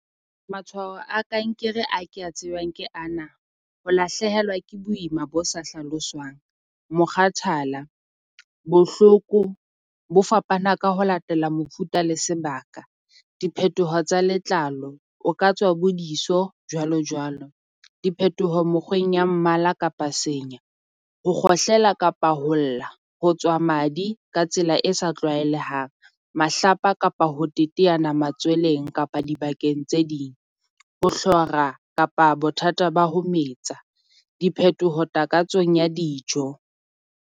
Matshwao a kankere ha ke a tsebang ke ana, o lahlehelwa ke boima bo sa hlaloswang, mokgathala, bohloko bo fapana ka ho latela mofuta le sebaka. Diphethoho tsa letlalo, o ka tswa bo diso jwalo jwalo, diphethoho mokgoeng ya mmala kapa senya. Ho kgohlela kapa ho lla ho tswa madi ka tsela e sa tlwaelehang. Mahlapa kapa ho teteana matsweleng kapa dibakeng tse ding. Ho hlora kapa bothata ba ho metsa diphethoho takatsong ya dijo.